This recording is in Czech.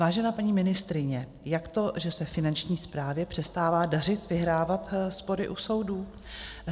Vážená paní ministryně, jak to, že se Finanční správě přestává dařit vyhrávat spory u soudů?